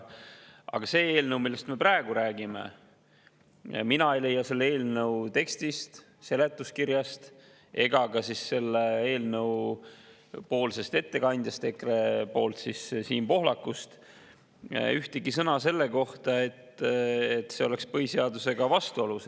Aga selle eelnõu puhul, millest me praegu räägime, mina ei leia selle tekstist, seletuskirjast ega ka eelnõu ettekandja Siim Pohlaku, ühtegi sõna selle kohta, et see oleks põhiseadusega vastuolus.